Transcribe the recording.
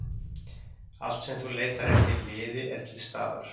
Allt sem þú leitar eftir í liði er til staðar.